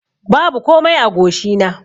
Babu komai a goshi na.